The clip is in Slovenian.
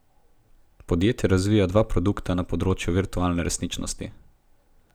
Podjetje razvija dva produkta na področju virtualne resničnosti.